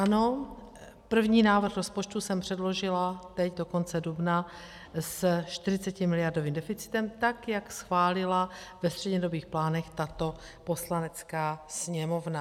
Ano, první návrh rozpočtu jsem předložila teď do konce dubna se 40miliardovým deficitem, tak jak schválila ve střednědobých plánech tato Poslanecká sněmovna.